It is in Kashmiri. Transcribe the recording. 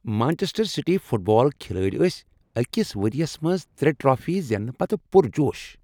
مانچسٹر سٹی فٹ بال کھلٲڑۍ ٲسۍ أکس ؤرۍ یس منٛز ترے ٹرافی زیننہٕ پتہٕ پرجوش